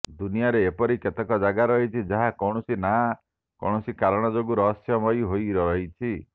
ଦୁନିଆରେ ଏପରି କେତେକ ଜାଗା ରହିଛି ଯାହା କୌଣସି ନା କୌଣସି କାରଣ ଯୋଗୁଁ ରହସ୍ୟମୟୀ ହୋଇ ରହିଛି